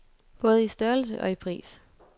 Både i størrelse og i pris.